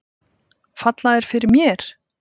Falla þær fyrir mér?